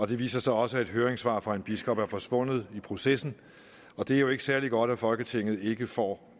det viser sig også at et høringssvar fra en biskop er forsvundet i processen og det er jo ikke særlig godt at folketinget ikke får